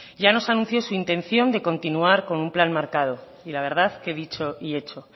ya nos anunció su intención de continuar con un plan marcado y la verdad que dicho y hecho